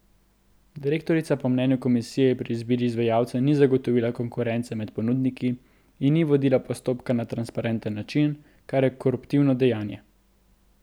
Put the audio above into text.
Direktorica po mnenju komisije pri izbiri izvajalca ni zagotovila konkurence med ponudniki in ni vodila postopka na transparenten način, kar je koruptivno dejanje.